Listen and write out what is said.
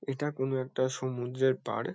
এটা কোনো একটা সমুদ্রের পাড়।